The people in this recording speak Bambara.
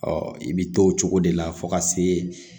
Ɔ i bɛ to o cogo de la fo ka se